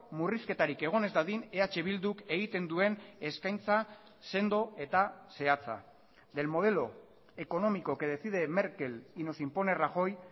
murrizketarik egon ez dadin eh bilduk egiten duen eskaintza sendo eta zehatza del modelo económico que decide merkel y nos impone rajoy